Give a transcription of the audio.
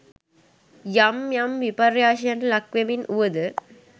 යම් යම් විපර්යාසයන්ට ලක් වෙමින් වුවද